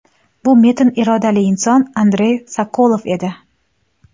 Bu metin irodali inson Andrey Sokolov edi.